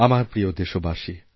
আমার প্রিয়দেশবাসী